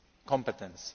level of competence.